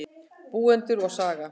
Búendur og saga.